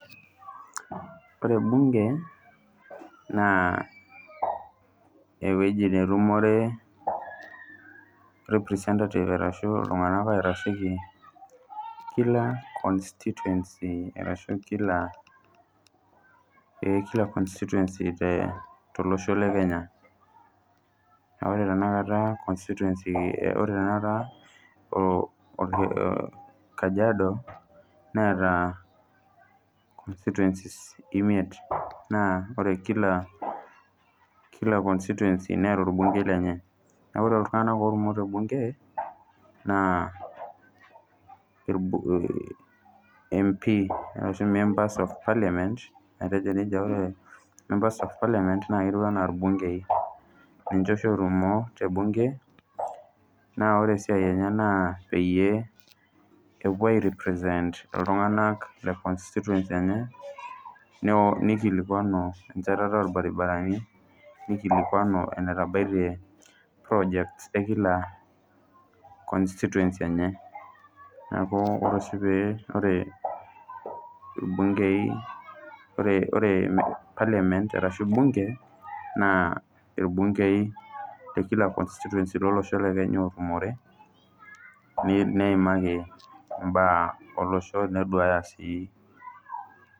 Ore ebunge naa eweji netumore representatives arashu iltungana oitasheki kila constituency arashu kila constituency te losho le Kenya ,naaku ore tenakata constituency ore tenakata Kajiado neata constituencies imiet naa ore kila constituency neeta bungei lenye, naaku ore taata bunge naa empii ashu members of parliament naa ketiu anaa ilbungei niche oshi ootumo te bunge naa ore esiai enye naa peyie epuo airipresent iltunganak le constituency enye neikilikuanu enchetare olbaribarani neikilikuanu enetabaite purojekt ekila constituency enye naaku ore oshi pee ore imbungei oree parliament arashu ebunge naa ilbungei le kila constituency elosho le Kenya ootumore neimaki imbaa elosho neduaaya sii.